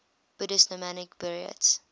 buddhist nomadic buryats